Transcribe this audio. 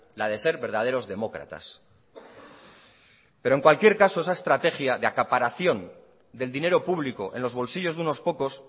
la de ser verdaderos demócratas perol en cualquier caso esa estrategia de acaparación del dinero público en los bolsillos de unos pocos